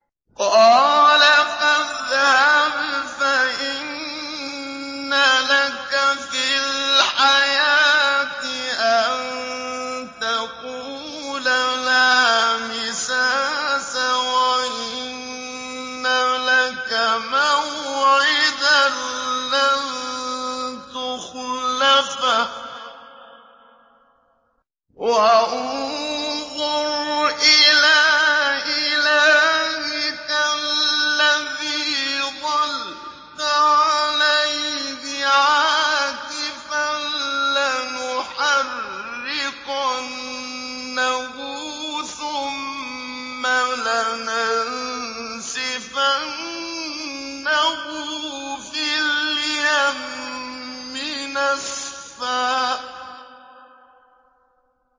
قَالَ فَاذْهَبْ فَإِنَّ لَكَ فِي الْحَيَاةِ أَن تَقُولَ لَا مِسَاسَ ۖ وَإِنَّ لَكَ مَوْعِدًا لَّن تُخْلَفَهُ ۖ وَانظُرْ إِلَىٰ إِلَٰهِكَ الَّذِي ظَلْتَ عَلَيْهِ عَاكِفًا ۖ لَّنُحَرِّقَنَّهُ ثُمَّ لَنَنسِفَنَّهُ فِي الْيَمِّ نَسْفًا